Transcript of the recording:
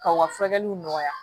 Ka u ka furakɛliw nɔgɔya